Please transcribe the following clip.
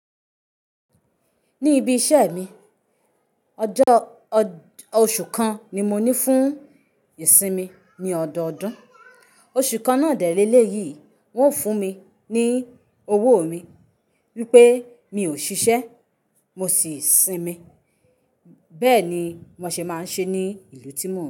Ní ibi iṣẹ́ mi, ọjọ́, oṣù kan ni mo ní fún ìsinmi ní ọdọọdún. Oṣù kan náà dẹ́ lẹ̀léyìí, wọ́n ò fún mi ní owó mi wípé mi ò ṣiṣẹ́, mo sì sinmi. Bẹ́ẹ̀ ni mo ṣe máa ń ṣe ní ìlú tí mò ń.